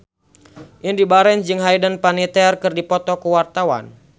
Indy Barens jeung Hayden Panettiere keur dipoto ku wartawan